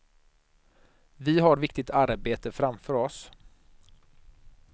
Vi har viktigt arbete framför oss.